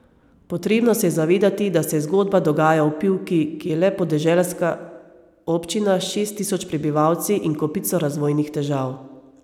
Potrebno se je zavedati, da se zgodba dogaja v Pivki, ki je le podeželska občina s šest tisoč prebivalci in kopico razvojnih težav.